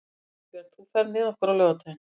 Ingibjörn, ferð þú með okkur á laugardaginn?